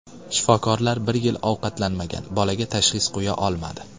Shifokorlar bir yil ovqatlanmagan bolaga tashxis qo‘ya olmadi.